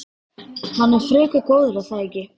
Hann er frekar góður er það ekki?